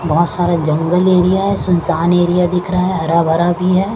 बहोत सारा जंगल एरिया है सुनसान एरिया दिख रहा है हरा भरा भी है।